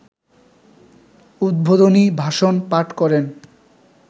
‘উদ্বোধনী ভাষণ’ পাঠ করেন